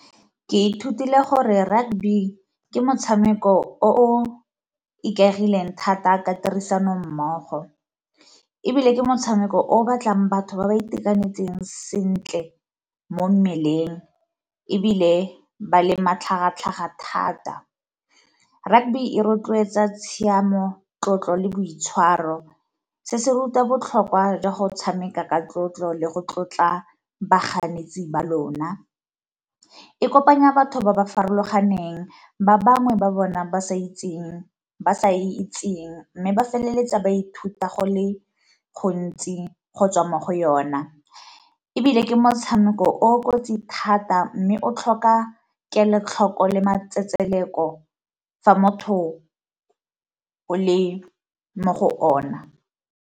Ke ithutile gore rugby ke motshameko o o ikaegileng thata ka tirisano mmogo, ebile ke motshameko o o batlang batho ba ba itekanetseng sentle mo mmeleng ebile ba le matlhagatlhaga thata. Rugby e rotloetsa tshiamo, tlotlo, le boitshwaro se se ruta botlhokwa jwa go tshameka ka tlotlo le go tlotla baganetsi ba lona. E kopanya batho ba ba farologaneng ba bangwe ba bona ba sa e itseng, mme ba feleletsa ba ithuta go le gontsi go tswa mo go yona. Ebile ke motshameko o o kotsi thata, mme o tlhoka kelotlhoko le matsetseleko fa motho o le mo go ona.